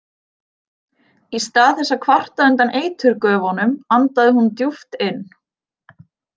Í stað þess að kvarta undan eiturgufunum andaði hún djúpt inn.